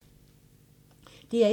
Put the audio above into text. DR1